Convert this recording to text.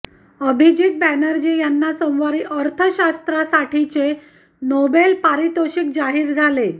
अभिजीत बॅनर्जी यांना सोमवारी अर्थशास्त्रासाठीचे नोबेल पारितोषिक जाहीर झाले